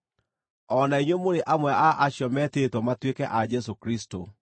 O na inyuĩ mũrĩ amwe a acio metĩtwo matuĩke a Jesũ Kristũ.